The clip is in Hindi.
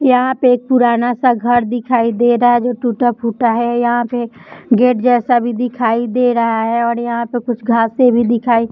यहाँ पे एक पुराना सा घर दिखाई दे रहा है जो टूटा-फूटा है यहाँ पे गेट जैसा भी दिखाई दे रहा है और यहाँ पर कुछ घासे भी दिखाई --